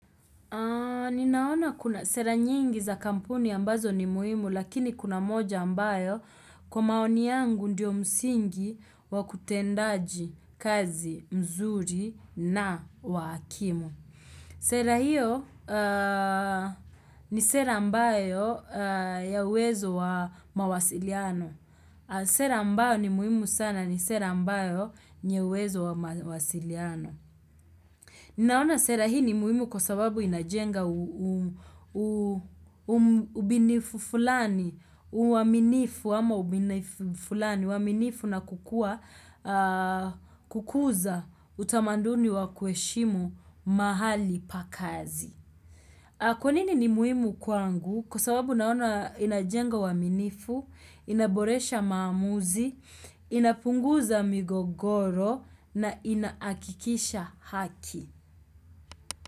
Ninaona kuna sera nyingi za kampuni ambazo ni muhimu lakini kuna moja ambayo kwa maoni yangu ndiyo msingi wa kutendaji kazi mzuri na wa hakimu. Sera hiyo ni sera ambayo ya uwezo wa mawasiliano. Sera ambayo ni muhimu sana ni sera ambayo yenye uwezo wa mawasiliano. Ninaona sera hii ni muhimu kwa sababu inajenga ubinifu fulani, uaminifu na kukuza utamaduni wa kuheshimu mahali pa kazi. Kwa nini ni muhimu kwangu kwa sababu naona inajenga uaminifu, inaboresha maamuzi, inapunguza migogoro na inahakikisha haki.